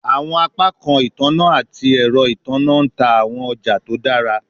Awọn apakan itanna ati ẹrọ itanna n ta awọn ọja to dara